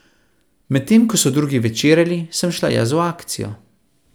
Medtem ko so drugi večerjali, sem šla jaz v akcijo!